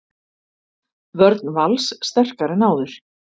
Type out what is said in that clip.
Vörn Vals sterkari en áður